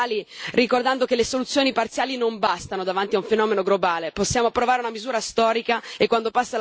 Quindi mi appello ai colleghi popolari e liberali, ricordando che le soluzioni parziali non bastano davanti a un fenomeno globale.